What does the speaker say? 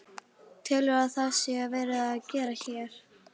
Telurðu að það sé verið að gera hér?